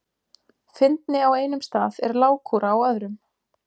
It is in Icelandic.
Fyndni á einum stað er lágkúra á öðrum.